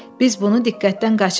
Biz bunu diqqətdən qaçırmışıq.